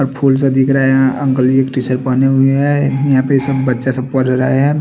Full सा दिखरा है यहा अंकल जी टीशर्ट पहने हुए है यहा पे ये सब बच्चा सब पड़ रहे है।